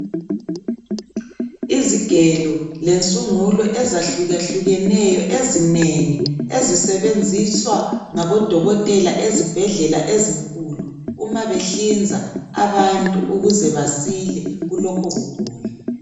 Izigelo lensungulo ezahlukahlukeneyo ezinengi ezisebenziswa ngabodokotela ezibhedlela ezinkulu uma behlinza abantu ukuze basile kulokho kugula.